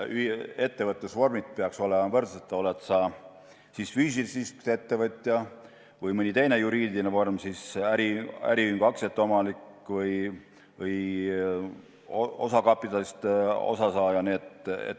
Ettevõtlusvormid peaksid olema võrdsed, oled sa siis füüsilisest isikust ettevõtja või äriühingu aktsiate omanik või osakapitalist osasaaja.